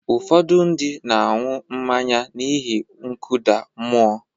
Ụfọdụ ndị na-aṅụ mmanya n’ihi nkụda mmụọ.